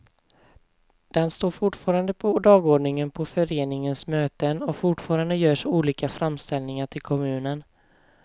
Den står fortfarande på dagordningen på föreningens möten, och fortfarande görs olika framställningar till kommunen.